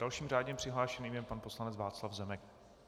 Dalším řádně přihlášeným je pan poslanec Václav Zemek.